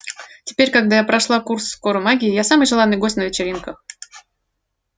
теперь когда я прошла курс скоромагии я самый желанный гость на вечеринках